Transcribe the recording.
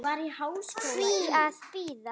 Hví að bíða?